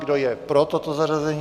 Kdo je pro toto zařazení?